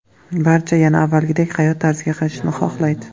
Barcha yana avvalgidek hayot tarziga qaytishni xohlaydi.